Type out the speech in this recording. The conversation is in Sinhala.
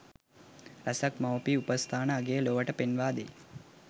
රැසක් මවුපිය උපස්ථානයේ අගය ලොවට පෙන්වා දෙයි.